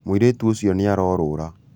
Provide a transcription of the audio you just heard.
mũirĩtu ũcionĩarorũra